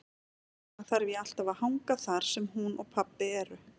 Þess vegna þarf ég alltaf að hanga þar sem hún og pabbi eru.